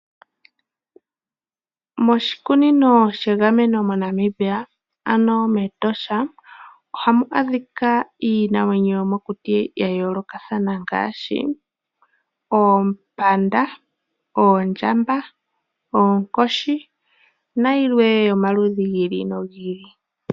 Moshikunino shegameno mo Namibia ano mEtosha ohamu adhika iinamwenyo yomokuti ya yoolokathana ngaashi oompanda, oondjamba, oonkoshi nayilwe yomaludhi gi ili nogi ili.